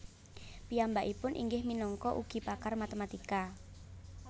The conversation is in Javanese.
Piyambakipun inggih minangka ugi pakar matematika